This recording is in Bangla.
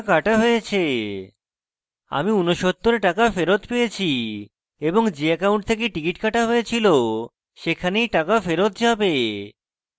আমি 69 টাকা ফেরৎ পেয়েছি এবং যে account থেকে টিকিট কাটা হয়েছিল টাকা সেখানেই টাকা ফেরৎ যাবে